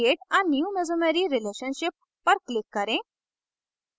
create a new mesomery relationship पर click करें